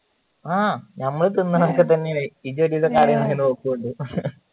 ആ ഞമ്മള് തിന്നാൻ ഒക്കെ തന്നെയാണ